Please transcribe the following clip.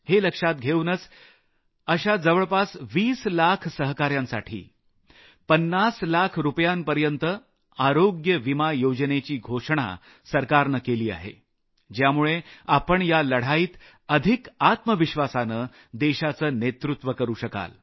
हे लक्षात घेऊनच अशा जवळपास 20 लाख मित्रांसाठी 50 लाख रूपयांपर्यत आरोग्य विमा योजनेची घोषणा सरकारने केली आहे ज्यामुळे आपण या लढाईत अधिक आत्मविश्वासानं देशाचं नेतृत्व करू शकाल